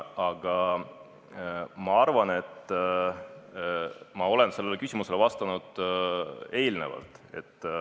Aga ma arvan, et ma olen sellele küsimusele juba vastanud.